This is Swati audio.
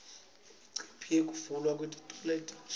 imicimbi yekuvulwa kwetikolo letintsa